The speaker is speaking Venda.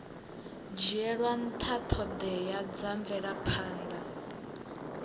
dzhielwa nṱha ṱhoḓea dza mvelaphanḓa